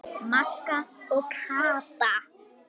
Magga og Kata.